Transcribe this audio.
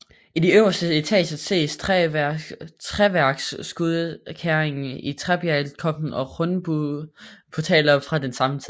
I de to øverste etager ses træværksudskæringer i træbjælkeloftet og rundbueportaler fra den samme tid